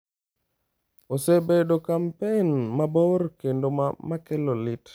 Osebedo kampen mabor kendo ma kelo lit.